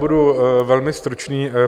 Budu velmi stručný.